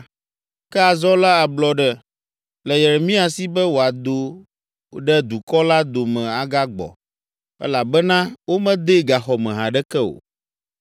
Ke azɔ la, ablɔɖe le Yeremia si be wòado ɖe dukɔ la dome agagbɔ, elabena womedee gaxɔ me haɖeke o.